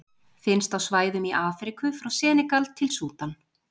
Finnst á svæðum í Afríku frá Senegal til Súdan.